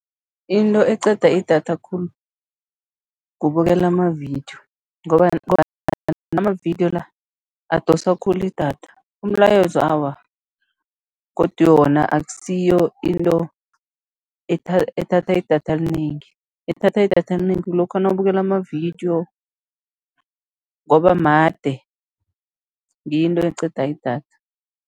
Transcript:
Into eqeda idatha khulu, kubukela amavidiyo amavidiyo la, adosa khulu idatha, umlayezo awa, godu wona akusiyo into ethatha idatha elinengi, ethatha idatha elinengi kulokha nawubukele amavidiyo ngoba made, ngiyo into eqeda idatha.